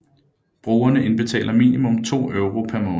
Brugerne indbetaler minimum 2 euro per måned